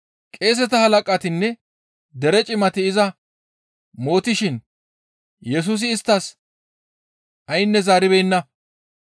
Qeeseta halaqatinne dere cimati iza mootishin Yesusi isttas aynne zaaribeenna.